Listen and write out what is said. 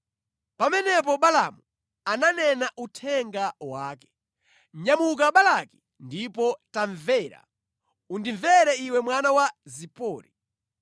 Pamenepo Balaamu ananena uthenga wake: “Nyamuka Balaki ndipo tamvera; Undimvere iwe mwana wa Zipori.